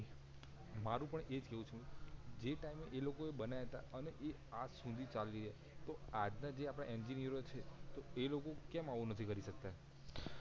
મારુ પણ એજ કેવું છે જે ટાઇમ એ લોકો એ બનાયા તા અને એ આજ સુધી ચાલે છે તો આજ ના જે આપડા એન્જિનિયરો છે તો એ લોકો કેમ આવું નથી કરી સકતા